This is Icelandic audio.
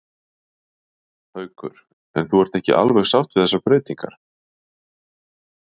Haukur: En þú ert ekki alveg sátt við þessar breytingar?